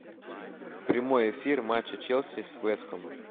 прямой эфир матча челси с вест хэмом